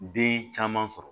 Den caman sɔrɔ